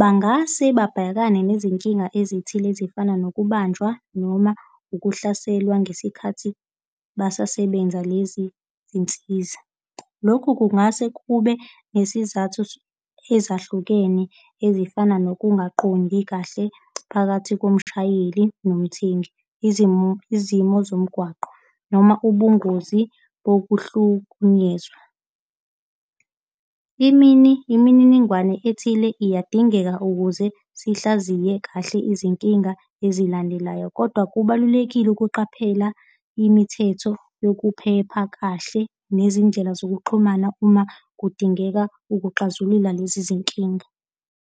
bangase babhekane nezinkinga ezithile ezifana nokubanjwa noma ukuhlaselwa ngesikhathi basasebenza lezi zinsiza. Lokhu kungase kube nesizathu ezahlukene ezifana nokungaqondi kahle phakathi komshayeli nomthengi. Izimo, izimo zomgwaqo noma ubungozi yokuhlukunyezwa. Imini, imininingwane ethile iyadingeka ukuze sihlaziye kahle izinkinga ezilandelayo kodwa kubalulekile ukuqaphela imithetho yokuphepha kahle nezindlela zokuxhumana uma kudingeka ukuxazulula lezi zinkinga.